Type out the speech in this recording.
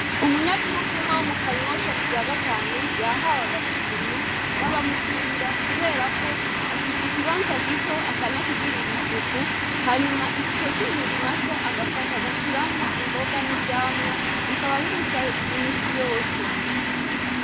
Umunyagihugu umwa wo mu kanyosha ku rya gatanu yahawe agashimwe n'abamukurira kuberako afise ikibanza gito akanakigirira isuku hanyuma ico kindi na co agafata agashiramwo imboga n'ivyamwa bikaba bimusahiriza imisi yose.